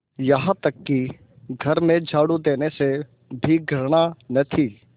यहाँ तक कि घर में झाड़ू देने से भी घृणा न थी